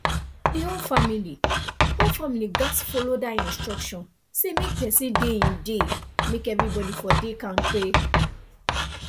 the whole family whole family gats follow that instruction say make person dey him dey make everybody for dey kampe